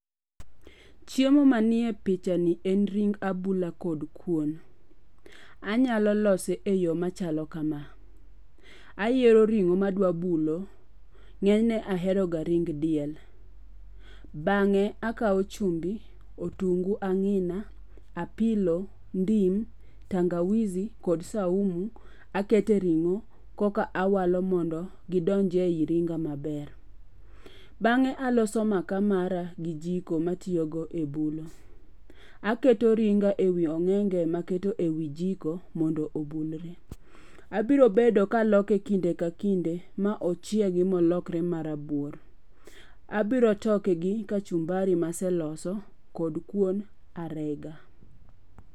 Chiemo manie picha ni en ring abula kod kuon. Anyalo lose e yo machalo kama. Ayiero ring'o ma adwa bulo. Ng'enyne ahero ga ring diel. Bang'e akawo chumbi, otungu ang'ina, apilo, ndim, tangawizi, kod saumu akete e ring'o koka awalo mondo gidonjie e yi ringa maber. Bang'e aloso maka mara gi jiko matiyogo e bulo. Aketo ringa e wi ong'enge maketo e wi jiko mondo obulre. Abiro bedo ka loke kinde ka kinde ma ochiegi ma olokre marabuor. Aburo toke gi kachumbari maseloso kod kuon arega.